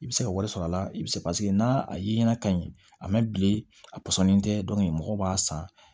I bɛ se ka wari sɔrɔ a la i bɛ se paseke n'a ye na ka ɲi a mɛ bilen a pɔsɔnni tɛ mɔgɔ b'a san